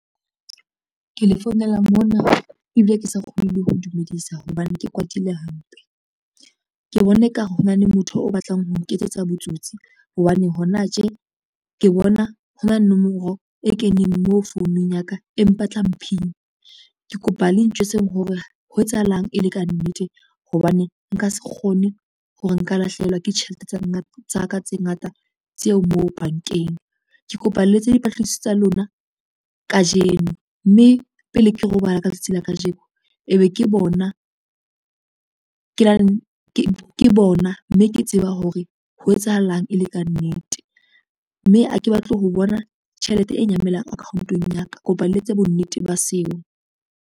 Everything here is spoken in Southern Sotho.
Ke le founela mona ebile ke sa kgone le ho dumedisa hobane ke kwatile hampe. Ke bona e ka re ho na le motho o batlang ho nketsetsa botsotsi hobane hona tje ke bona ho na le nomoro e keneng mo founung ya ka e mpatlang PIN. Ke kopa le ntjwtseng hore ho etsahalang e le ka nnete hobane nka se kgone hore nka lahlehelwa ke tjhelete tsa ka tse ngata tseo moo bankeng. Ke kopa le etse dipatlisiso tsa lona kajeno mme pele ke robala ka tsatsi la kajeno, e be ke bona mme ke tseba hore ho etsahalang e le ka nnete, mme ha ke batle ho bona tjhelete e nyamelang account-ong ya ka, kopa le etse bonnete ba seo.